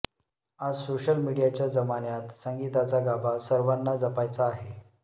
आज सोशल मिडीयाच्या जमान्यात संगीताचा गाभा सर्वांना जपायचा आहे